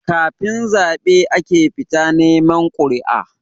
Kafin zabe ake fita neman quri'a